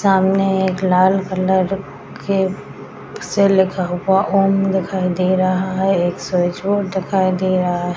सामने एक लाल कलर के से लिखा हुआ ओम दिखाई दे रहा है | एक दिखाई दे रहा है |